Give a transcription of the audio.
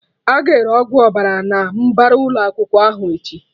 Aga ere Ọgwụ Ọbara na mbara ụlọ akwụkwọ ahụ echi